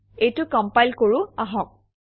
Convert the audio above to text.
এইটো কমপাইল কৰোঁ আহক